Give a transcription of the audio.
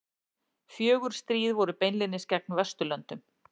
Fjögur stríð voru beinlínis gegn Vesturlöndum.